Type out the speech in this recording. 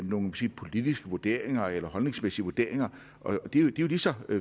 nogle politiske vurderinger eller holdningsmæssige vurderinger de er jo lige så